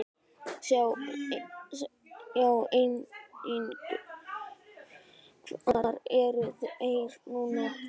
Sjá einnig: Hvar eru þeir núna?